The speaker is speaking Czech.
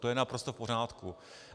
To je naprosto v pořádku.